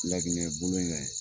Laginɛ bolo kan in